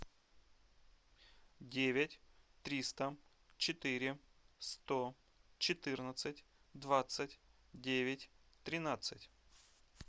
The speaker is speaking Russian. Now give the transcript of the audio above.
девять триста четыре сто четырнадцать двадцать девять тринадцать